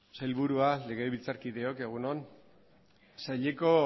sailburua legebiltzarkideok egun on saileko